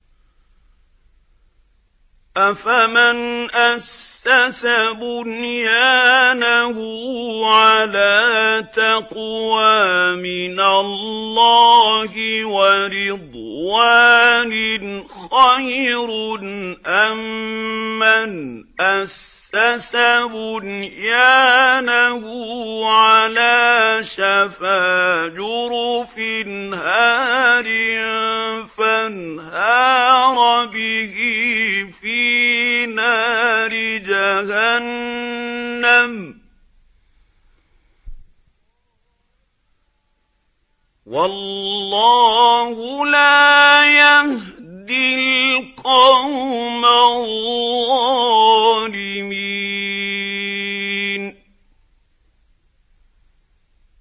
أَفَمَنْ أَسَّسَ بُنْيَانَهُ عَلَىٰ تَقْوَىٰ مِنَ اللَّهِ وَرِضْوَانٍ خَيْرٌ أَم مَّنْ أَسَّسَ بُنْيَانَهُ عَلَىٰ شَفَا جُرُفٍ هَارٍ فَانْهَارَ بِهِ فِي نَارِ جَهَنَّمَ ۗ وَاللَّهُ لَا يَهْدِي الْقَوْمَ الظَّالِمِينَ